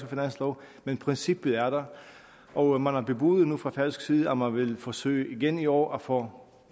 finanslov men princippet er der og man har bebudet nu fra færøsk side at man vil forsøge igen i år at få